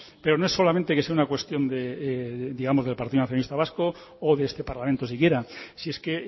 pero no es solamente que sea una cuestión del partido nacionalista vasco o de este parlamento si quiera si es que